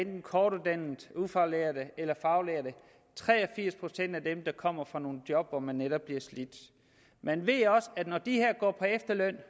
kortuddannede ufaglærte eller faglærte tre og firs procent kommer fra nogle job hvor man netop bliver slidt men ved også at når de her går på efterløn